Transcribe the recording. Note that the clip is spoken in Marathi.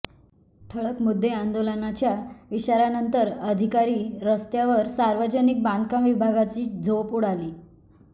ठळक मुद्देआंदोलनाच्या इशाऱ्यानंतर अधिकारी रस्त्यावरसार्वजनिक बांधकाम विभागाची झोप उडाली